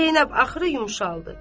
Zeynəb axırı yumşaldı.